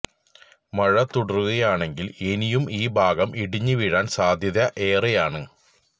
മഴ തുടരുകയാണെങ്കില് ഇനിയും ഈ ഭാഗം ഇടിഞ്ഞു വീഴാന് സാദ്ധ്യത ഏറെയാണ്